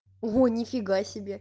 во нифига себе